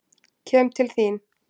Kem til þín.